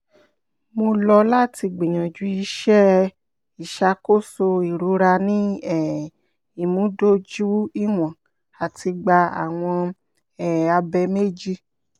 mo lọ lati gbiyanju iṣẹ iṣakoso irora ni um imudojuiwọn ati gba awọn um abẹ meji